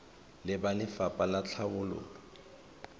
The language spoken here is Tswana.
le ba lefapha la tlhabololo